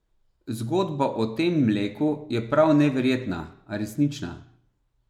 Zgodba o tem mleku je prav neverjetna, a resnična.